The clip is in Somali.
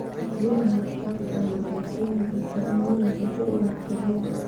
Biyaha xad dhaafka ahi waxay keeni kartaa in milixdu ku ururto ciidda.